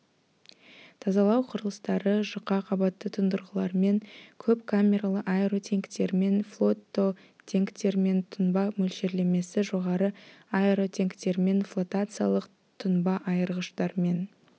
тазалау құрылыстары жұқа қабатты тұндырғылармен көп камералы аэротенктермен флототенктермен тұнба мөлшерлемесі жоғары аэротенктермен флотациялық тұнба айырғыштармен